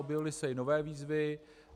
Objevily se i nové výzvy.